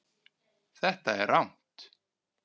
Þetta er rangt.